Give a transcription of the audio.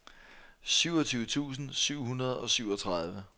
syvogtyve tusind syv hundrede og syvogtredive